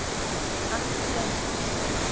Allt til einskis.